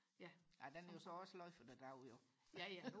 ja den er jo så også sløjfet i dag jo ja ja